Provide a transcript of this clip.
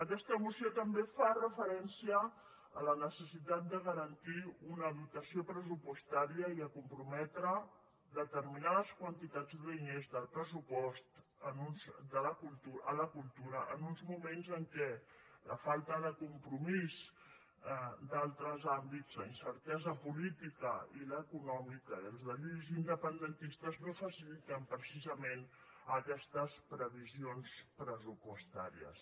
aquesta moció també fa referència a la necessitat de garantir una dotació pressupostària i a comprometre determinades quantitats de diners del pressupost a la cultura en uns moments en què la falta de compromís en altres àmbits la incertesa política i l’econòmica i els deliris independentistes no faciliten precisament aquestes previsions pressupostàries